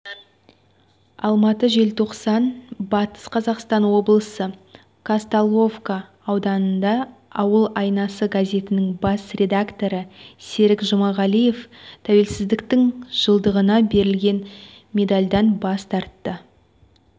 алматы желтоқсан батыс қазақстан облысы казталовка ауданында ауыл айнасы газетінің бас редакторы серік жұмағалиев тәуелсіздіктің жылдығына берілген медальдан бас тартты